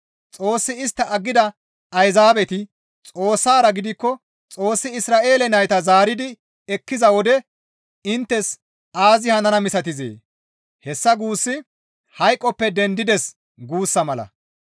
Xoossi istta aggida Ayzaabeti Xoossara giigikko Xoossi Isra7eele nayta zaaridi ekkiza wode inttes aazi hanana misatizee? Hessa guussi, «Hayqoppe dendides» guussa mala.